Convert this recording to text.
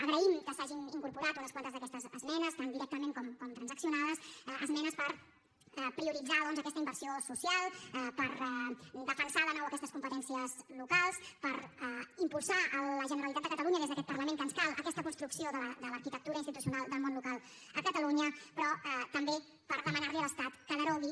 agraïm que s’hagin incorporat unes quantes d’aquestes esmenes tant directament com transaccionades esmenes per prioritzar doncs aquesta inversió social per defensar de nou aquestes competències locals per impulsar a la generalitat de catalunya des d’aquest parlament que ens cal aquesta construcció de l’arquitectura institucional del món local a catalunya però també per demanar li a l’estat que derogui